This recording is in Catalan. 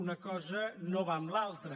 una cosa no va amb l’altra